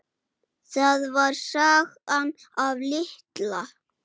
Það var sagan af Litla